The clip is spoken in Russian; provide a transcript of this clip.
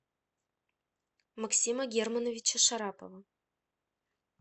максима германовича шарапова